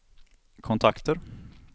kontakter